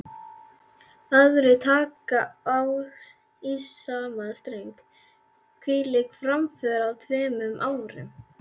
Aðrir taka í sama streng: Hvílík framför á tveimur árum.